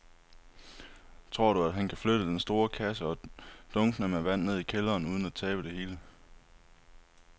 Tror du, at han kan flytte den store kasse og dunkene med vand ned i kælderen uden at tabe det hele?